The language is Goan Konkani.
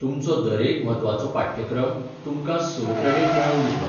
तुमचो दरेक म्हत्वाचो पाठ्यक्रम तुमकां स क्रॅडिट मेळोवन दितलो .